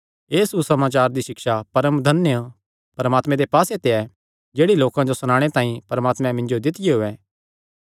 एह़ सुसमाचार दी सिक्षा परमधन्य परमात्मे दे पास्से ते ऐ जेह्ड़ी लोकां जो सणाणे तांई परमात्मे मिन्जो दित्तियो ऐ